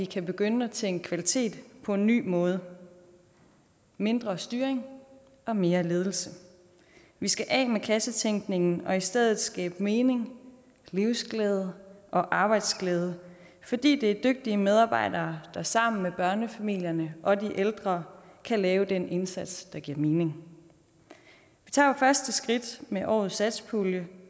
kan begynde at tænke kvalitet på en ny måde mindre styring og mere ledelse vi skal af med kassetænkningen og i stedet skabe mening livsglæde og arbejdsglæde fordi det er dygtige medarbejdere der sammen med børnefamilierne og de ældre kan lave den indsats der giver mening vi tager jo første skridt med årets satspulje